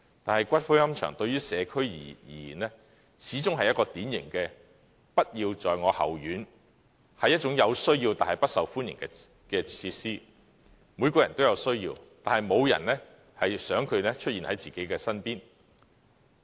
但是，龕場對於社區而言，始終是一種典型的"不要在我後院"、有需要但不受歡迎的設施，每個人均有需要，但沒有人想這設施出現在自己身邊。